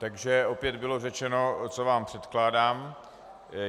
Takže opět bylo řečeno, co vám předkládám.